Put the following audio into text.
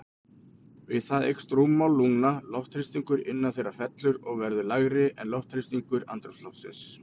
Við það eykst rúmmál lungna, loftþrýstingur innan þeirra fellur og verður lægri en loftþrýstingur andrúmsloftsins.